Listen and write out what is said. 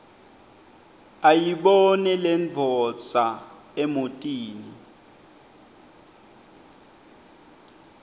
ayibone lendvodza emotini